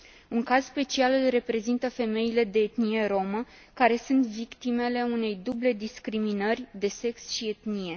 Un caz special îl reprezintă femeile de etnie romă, care sunt victimele unei duble discriminări, de sex și etnie.